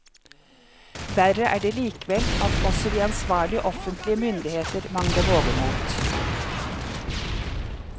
Verre er det likevel at også de ansvarlige offentlige myndigheter mangler vågemot.